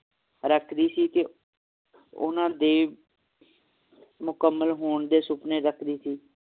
ਰੱਖਦੀ ਸੀ ਤੇ ਓਹਨਾ ਦੇ ਮੁਕੰਮਲ ਹੋਣ ਦੇ ਸੁਪਨੇ ਰੱਖਦੀ ਸੀ